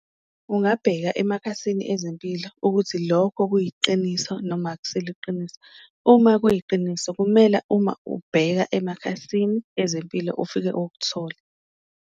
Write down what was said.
Ungabheka emakhasini ezempilo ukuthi lokho kuyiqiniso noma akusilo iqiniso. Uma kuyiqiniso kumele uma ubheka emakhasini ezempilo, ufike ukuthole.